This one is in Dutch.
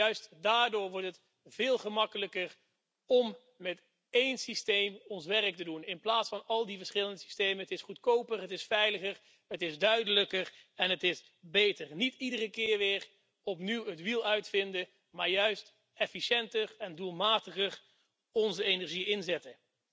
Juist daardoor wordt het veel gemakkelijker om met één systeem ons werk te doen in plaats van met al die verschillende systemen. Het is goedkoper, het is veiliger, het is duidelijker en het is beter niet iedere keer weer opnieuw het wiel uitvinden, maar juist efficiënter en doelmatiger onze energie inzetten.